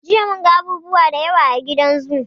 Jiya mun ga abubuwa da yawa a gidan zoo.